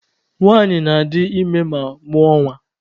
Nwanyị na-adị ime ma mụọ nwa.